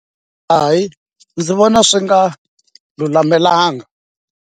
Hayi ndzi vona swi nga lulamelanga.